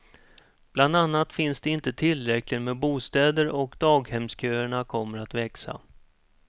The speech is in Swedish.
Bland annat finns det inte tillräckligt med bostäder och daghemsköerna kommer att växa.